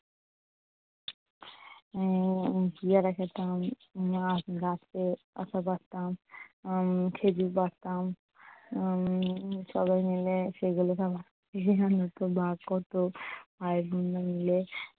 উম পেয়ারা খেতাম। গাছ থেকে আতা পাড়তাম উম খেজুর পাড়তাম উম সবাই মিলে সেগুলোকে ভাগ করতো আর